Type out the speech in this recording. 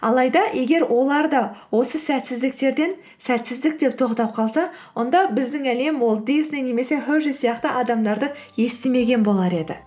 алайда егер олар да осы сәтсіздіктерден сәтсіздік деп тоқтап қалса онда біздің әлем уолт дисней немесе хершей сияқты адамдарды естімеген болар еді